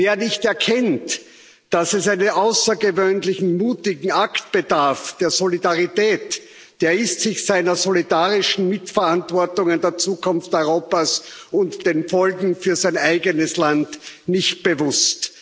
Wer nicht erkennt, dass es eines außergewöhnlichen mutigen Akts der Solidarität bedarf, der ist sich seiner solidarischen Mitverantwortung für die Zukunft Europas und der Folgen für sein eigenes Land nicht bewusst.